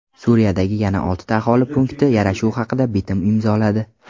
Suriyadagi yana oltita aholi punkti yarashuv haqida bitim imzoladi.